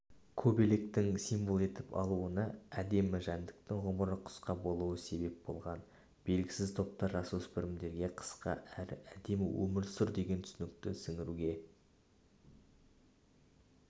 көбелектің символ етіп алынуына әдемі жәндіктің ғұмыры қысқа болуы себеп болған белгісіз топтар жасөспірімдерге қысқа әрі әдемі өмірсүр деген түсінікті сіңіруге